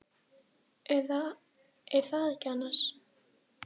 Eða. er það ekki annars?